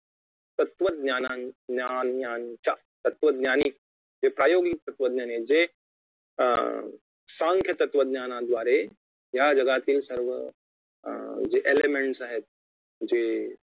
तत्वज्ञाना ज्ञानांच्या तत्त्वज्ञांनी जे प्रायोगिक तत्त्वज्ञांनी आहेत जे अं सांख्य तत्वज्ञानाद्वारे या जगातील सर्व जे ELEMENTS आहेत जे